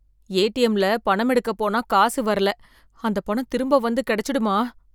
ஏடிஎம்ல பணம் எடுக்க போனா காசு வரல, அந்த பணம் திரும்ப வந்து கிடைச்சிடுமா?